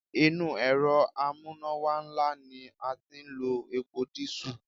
Inú Èrọ amúnáwá ńlá ni a ti ń lo epo dísù.